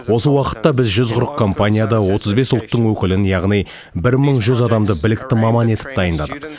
осы уақытта біз жүз қырық компанияда отыз бес ұлттың өкілін яғни бір мың жүз адамды білікті маман етіп дайындадық